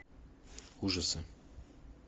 ужасы